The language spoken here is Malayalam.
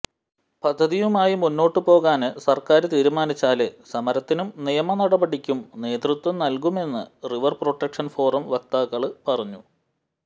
പദ്ധതിയുമായി മുന്നോട്ട് പോകാന് സര്ക്കാര് തീരുമാനിച്ചാല് സമരത്തിനും നിയമ നടപടിക്കും നേതൃത്വം നല്കുമെന്ന് റിവര് പ്രൊട്ടക്ഷന് ഫോറം വക്താക്കള് പറഞ്ഞു